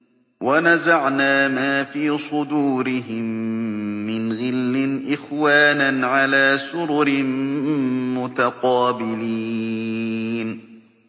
وَنَزَعْنَا مَا فِي صُدُورِهِم مِّنْ غِلٍّ إِخْوَانًا عَلَىٰ سُرُرٍ مُّتَقَابِلِينَ